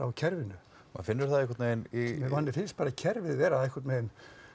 kerfinu maður finnur það einhvern veginn í manni finnst bara kerfið vera einhvern veginn